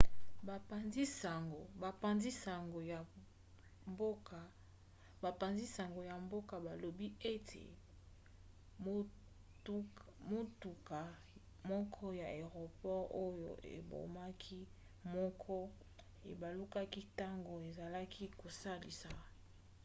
bapanzi-sango ya mboka balobi ete motuka moko ya aeroport oyo ebomaki moko ebalukaki ntango ezalaki kosalisa